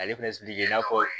Ale fɛnɛ i n'a fɔ